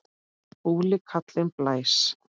Fúli kallinn blæs.